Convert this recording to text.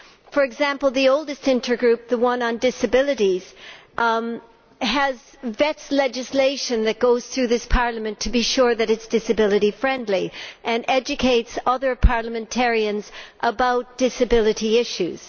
For example, the oldest intergroup the one on disabilities vets legislation that goes through this Parliament to be sure that it is disability friendly and educates other parliamentarians about disability issues.